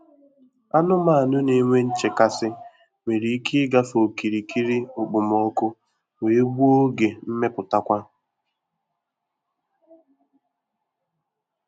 Anumanu na-enwe nchekasị nwere ike ịgafe okirikiri okpomọkụ wee gbuo oge mmeputakwa.